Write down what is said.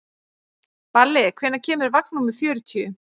Balli, hvenær kemur vagn númer fjörutíu?